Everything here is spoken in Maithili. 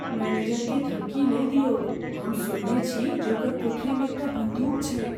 मैनेजरकेँ धमकी नहि दिऔक। हम सुनने छी जे ओकर कोठरी मे एकटा बन्दूक छैक।